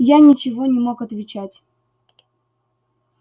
я ничего не мог отвечать